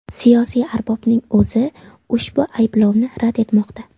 Siyosiy arbobning o‘zi ushbu ayblovni rad etmoqda.